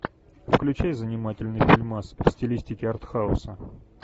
включай занимательный фильмас в стилистике артхауса